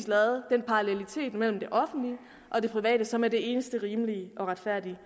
lavet den parallelitet mellem det offentlige og det private sundhedsvæsen som er det eneste rimelige og retfærdige